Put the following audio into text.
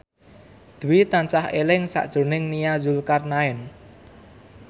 Dwi tansah eling sakjroning Nia Zulkarnaen